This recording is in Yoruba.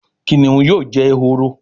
Kìnìún yóò jé ehoro